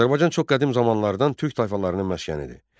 Azərbaycan çox qədim zamanlardan türk tayfalarının məskənidir.